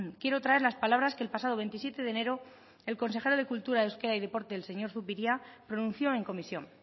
quiero traer las palabras que el pasado veintisiete de enero el consejero de cultura de euskadi y deporte el señor zupiria pronunció en comisión